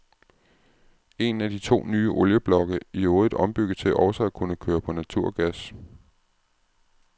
En af de to nye olieblokke i øvrigt ombygget til også at kunne køre på naturgas.